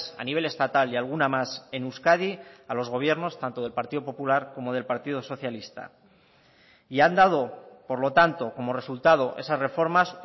a nivel estatal y alguna más en euskadi a los gobiernos tanto del partido popular como del partido socialista y han dado por lo tanto como resultado esas reformas